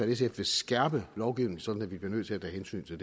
sf vil skærpe lovgivningen sådan at vi bliver nødt til at tage hensyn til